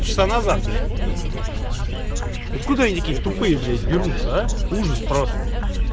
три часа назад откуда они такие тупые блять берутся а ужас просто